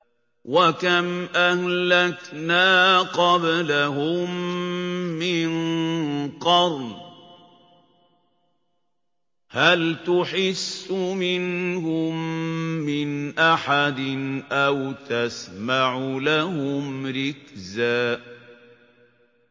وَكَمْ أَهْلَكْنَا قَبْلَهُم مِّن قَرْنٍ هَلْ تُحِسُّ مِنْهُم مِّنْ أَحَدٍ أَوْ تَسْمَعُ لَهُمْ رِكْزًا